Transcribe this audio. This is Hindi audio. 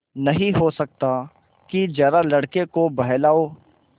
नहीं हो सकता कि जरा लड़के को बहलाओ